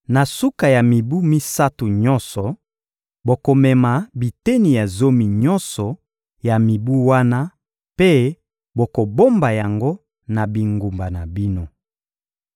Na suka ya mibu misato nyonso, bokomema biteni ya zomi nyonso ya mibu wana mpe bokobomba yango na bingumba na bino.